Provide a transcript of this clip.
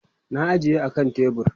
na ajiye a kan tebur